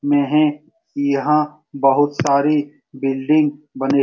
मै है यहाँ पर बहुत सारी बिल्डिंग बने --